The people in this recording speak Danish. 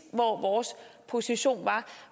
hvor vores position var